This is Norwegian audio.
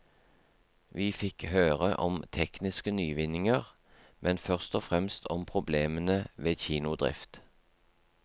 Vi fikk høre om tekniske nyvinninger, men først og fremst om problemene ved kinodrift.